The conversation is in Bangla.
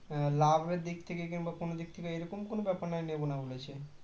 লাভের দিক থেকে কিংবা কোনও দিক থেকে এরকম কোনও ব্যাপার নয় নেব না বলেছে